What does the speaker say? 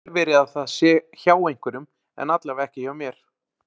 Það getur vel verið að það sé hjá einhverjum en allavega ekki hjá mér.